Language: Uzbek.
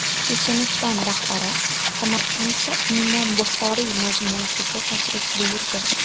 Checheniston rahbari Samarqandda Imom Buxoriy majmuasiga tashrif buyurdi.